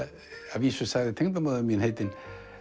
að vísu sagði tengdamóðir mín heitin